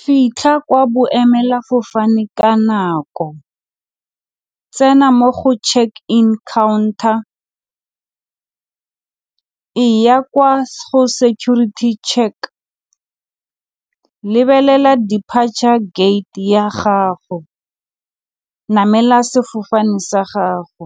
Fitlha kwa boemelafofane ka nako, tsena mo go checke-in counter, e ya kwa go security check, lebelela depature gate ya gago, namela sefofane sa gago.